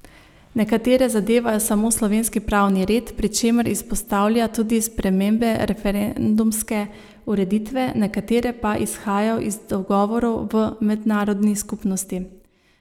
Nekatere zadevajo samo slovenski pravni red, pri čemer izpostavlja tudi spremembe referendumske ureditve, nekatere pa izhajajo iz dogovorov v mednarodni skupnosti.